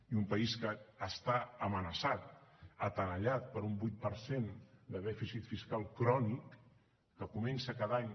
i un país que està amenaçat tenallat per un vuit per cent de dèficit fiscal crònic que comença cada any